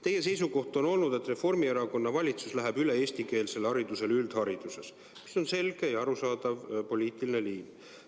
Teie seisukoht on olnud, et Reformierakonna valitsus läheb üldhariduskoolides üle eestikeelsele haridusele – see on selge ja arusaadav poliitiline liin.